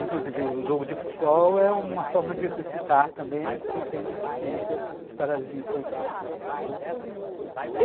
Inclusive o jogo de futebol é uma forma de exercitar também quem tem deficiência de paralisia infantil, não é?